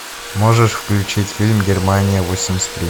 можешь включить фильм германия восемьдесят три